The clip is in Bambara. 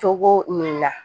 Cogo min na